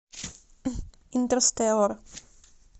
интерстеллар